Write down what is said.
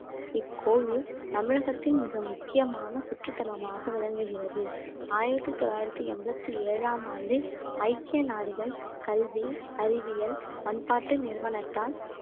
இக்கோவில் தமிழகத்தின் மிக முக்கியமான சுற்றுத்தலமாக விளங்குகிறது ஆயிரத்தி தொள்ளாயிரத்தி எண்பத்தி ஏழாம் ஆண்டு ஐக்கிய நாடுகள் கல்வி அறிவியல் பண்பாட்டு நிறுவனத்தால்